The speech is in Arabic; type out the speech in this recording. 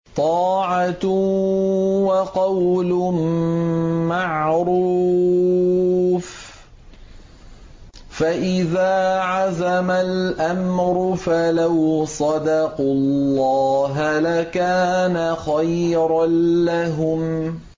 طَاعَةٌ وَقَوْلٌ مَّعْرُوفٌ ۚ فَإِذَا عَزَمَ الْأَمْرُ فَلَوْ صَدَقُوا اللَّهَ لَكَانَ خَيْرًا لَّهُمْ